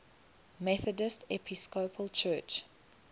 methodist episcopal church